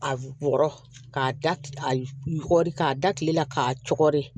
A wɔrɔ k'a da a yɔgɔri k'a da kile la k'a cɔgɔri